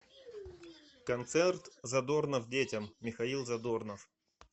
концерт задорнов детям михаил задорнов